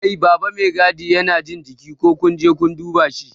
Kai baba Mai gadi Yana jin jiki, ko kunje kun dube shi?